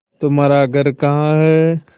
तुम्हारा घर कहाँ है